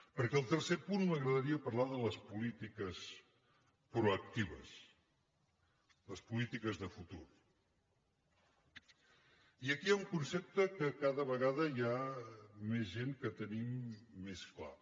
perquè al tercer punt m’agradaria parlar de les polítiques proactives les polítiques de futur i aquí hi ha un concepte que cada vegada hi ha més gent que tenim més clar